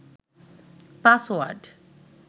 password